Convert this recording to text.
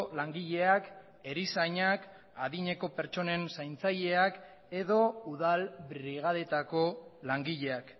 langileak erizainak adineko pertsonen zaintzaileak edo udal brigadetako langileak